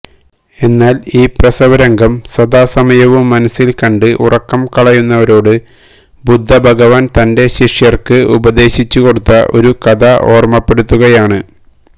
എന്നാല് ഈ പ്രസവരംഗം സദാസമയവും മനസില് കണ്ട് ഉറക്കം കളയുന്നവരോട് ബുദ്ധഭഗവാന് തന്റെ ശിഷ്യര്ക്ക് ഉപദേശിച്ചുകൊടുത്ത ഒരു കഥ ഓര്മ്മപ്പെടുത്തുകയാണ്